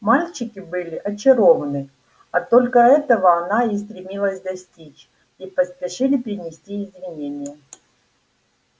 мальчики были очарованы а только этого она и стремилась достичь и поспешили принести извинения